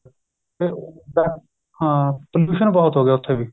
ਤੇ ਉਹ ਹਾਂ pollution ਬਹੁਤ ਹੋਗਿਆ ਉੱਥੇ ਵੀ